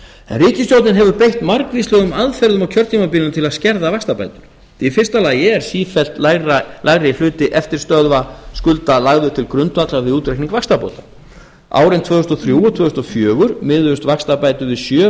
ríkisstjórnin hefur beitt margvíslegum aðferðum á kjörtímabilinu til að skerða vaxtabætur í fyrsta lagi er sífellt lægri hluti eftirstöðva skulda lagður til grundvallar við útreikning vaxtabóta árin tvö þúsund og þrjú og tvö þúsund og fjögur miðuðust vaxtabætur við sjö